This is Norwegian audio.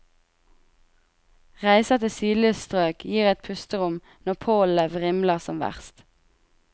Reiser til sydligere strøk gir et pusterom når pollenet vrimler som verst.